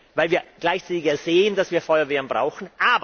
Weil wir ja gleichzeitig sehen, dass wir Feuerwehren brauchen.